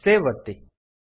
save ಒತ್ತಿ